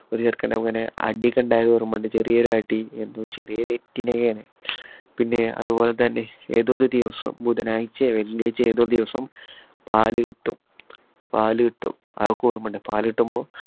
ഒരു ചെറുക്കന് അടി ഒക്കെ ഉണ്ടായത് ഓർമയുണ്ട് ചെറിയൊരുഅടി എന്തോ ചെറിയ തെറ്റിനൊക്കെ ആണ്. പിന്നെ അതു പോലെതന്നെ ഏതോ ഒരു ദിവസം ബുധനാഴ്ചയോ വെള്ളിയാഴ്ചയോ ഏതോ ഒരു ദിവസം പാല് കിട്ടും പാല് കിട്ടും അതൊക്കെ ഓർമയുണ്ട് പാല് കിട്ടുമ്പോ